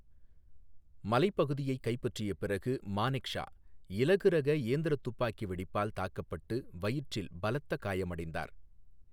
மலைப்பகுதியைக் கைப்பற்றிய பிறகு, மானெக்ஷா இலகுரக இயந்திர துப்பாக்கி வெடிப்பால் தாக்கப்பட்டு வயிற்றில் பலத்த காயமடைந்தார்.